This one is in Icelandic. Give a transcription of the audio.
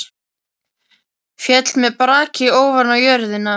Féll með braki ofan á jörðina.